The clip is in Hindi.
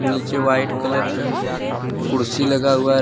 नीचे वाइट कलर का कुर्सी लगा हुआ है।